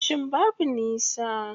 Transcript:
Ofishin babu nisa.